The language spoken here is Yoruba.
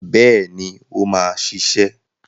Bẹ́ẹ̀ni, ó máa ṣiṣẹ́.